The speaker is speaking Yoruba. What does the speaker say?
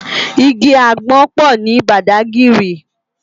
Igi ágbòn pò ni Bàdágìrí